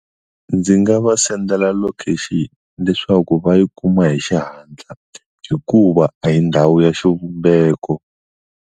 Ndzi nga va send-ela location leswaku va yi kuma hi xihatla hikuva a hi ndhawu ya xivumbeko.